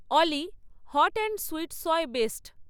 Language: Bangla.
Oli hot and sweet soy based